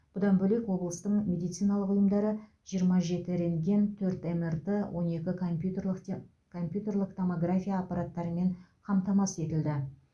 бұдан бөлек облыстың медициналық ұйымдары жиырма жеті рентген төрт мрт он екі компьютерлік те компьютерлік томография аппараттарымен қамтамасыз етілді